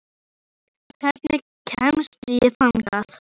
Herborg, hvernig kemst ég þangað?